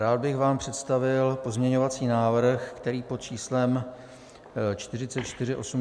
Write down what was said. Rád bych vám představil pozměňovací návrh, který pod číslem 4481 byl 4. března vložen do systému.